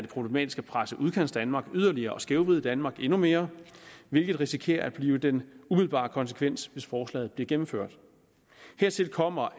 problematisk at presse udkantsdanmark yderligere og skævvride danmark endnu mere hvilket risikerer at blive den umiddelbare konsekvens hvis forslaget bliver gennemført hertil kommer